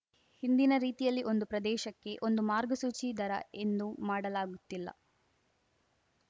ಹಿಂದಿನ ರೀತಿಯಲ್ಲಿ ಒಂದು ಪ್ರದೇಶಕ್ಕೆ ಒಂದು ಮಾರ್ಗಸೂಚಿ ದರ ಎಂದು ಮಾಡಲಾಗುತ್ತಿಲ್ಲ